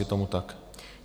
Je tomu tak?